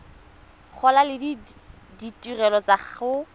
gola le ditirelo tsa go